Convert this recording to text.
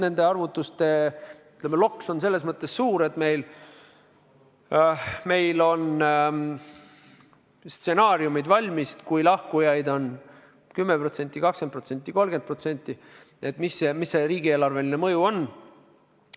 Nende arvutuste loks on selles mõttes suur, et meil on stsenaariumid valmis, kui lahkujaid on 10%, 20%, 30%, kui suur siis riigieelarveline mõju on.